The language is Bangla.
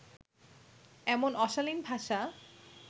এমন অশালিন ভাষা